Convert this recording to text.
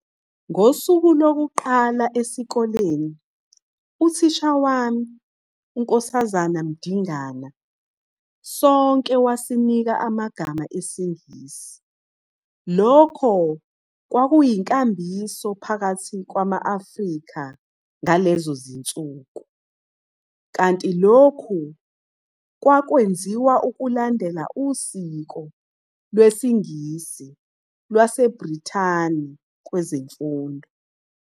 Ngosuku lokuqala esikoleni, uthisha wami, uNkosazana Mdingana, sonke wasinika amagama esiNgisi. Lokhu kwakuyinkambiso phakathi kwama-Afrika ngalezo zinsuku, kanti lokhu kwakwenziwa ukulandela usiko lwesingizi lwaseBrithani kwezemfundo.